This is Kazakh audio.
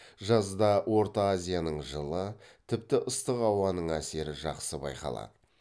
жазда орта азияның жылы тіпті ыстық ауасының әсері жақсы байқалады